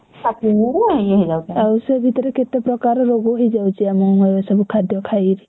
ଷାଠିଏ ହେଇଗଲେ ଇଏ ହେଇ ଯାଉଛନ୍ତି।